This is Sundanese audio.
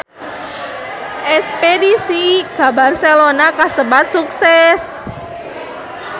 Espedisi ka Barcelona kasebat sukses